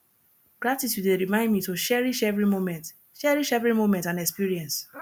gratitude dey remind me to cherish every moment cherish every moment and experience